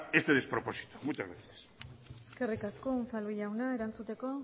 este despropósito muchas gracias eskerrik asko unzalu jauna erantzuteko